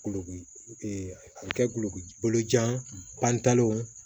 Kulokoki a bɛ kɛ kuloku bolo jan pantalenw ye